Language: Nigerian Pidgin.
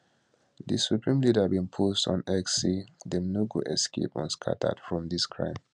di supreme leader bin post on x say dem no go escape unscathed from dis crime